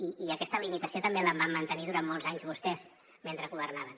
i aquesta limitació també la van mantenir durant molts anys vostès mentre governaven